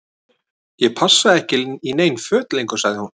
Ég passa ekki í nein föt lengur sagði hún.